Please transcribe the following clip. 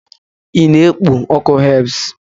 ị na-ekpo ọkụ herbs?